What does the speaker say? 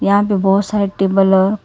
यहां पे बहोत सारे टेबल --